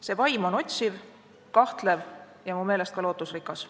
See vaim on otsiv, kahtlev ja ka lootusrikas.